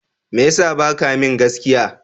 Me ya sa ba ka min gaskiya?